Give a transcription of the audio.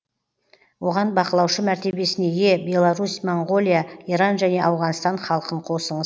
оған бақылаушы мәртебесіне ие беларусь моңғолия иран және ауғанстан халқын қосыңыз